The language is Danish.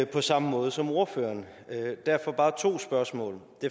på samme måde som ordføreren derfor bare to spørgsmål